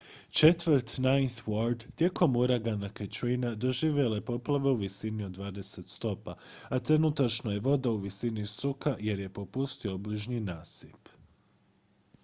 četvrt ninth ward tijekom uragana katrina doživjela je poplave u visini od 20 stopa a trenutačno je voda u visini struka jer je popustio obližnji nasip